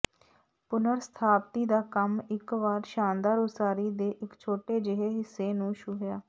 ਪੁਨਰ ਸਥਾਪਤੀ ਦਾ ਕੰਮ ਇਕ ਵਾਰ ਸ਼ਾਨਦਾਰ ਉਸਾਰੀ ਦੇ ਇਕ ਛੋਟੇ ਜਿਹੇ ਹਿੱਸੇ ਨੂੰ ਛੂਹਿਆ